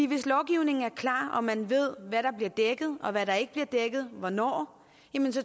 hvis lovgivningen er klar og man ved hvad der bliver dækket og hvad der ikke bliver dækket og hvornår